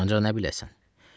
Ancaq nə biləsən.